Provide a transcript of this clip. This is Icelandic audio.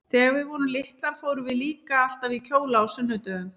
Þegar við vorum litlar fórum við líka alltaf í kjóla á sunnudögum.